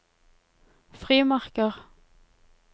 frimerker